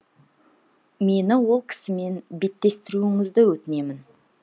мені ол кісімен беттестіруіңізді өтінемін